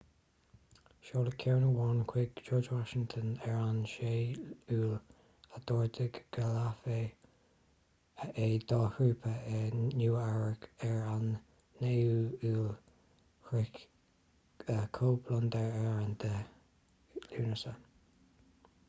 seoladh ceann amháin chuig george washington ar an 6 iúil a d'ordaigh go léifí é dá thrúpaí i nua eabhrac ar an 9 iúil shroich cóip londain ar an 10 lúnasa